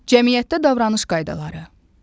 Cəmiyyətdə davranış qaydaları.